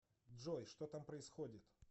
джой что там происходит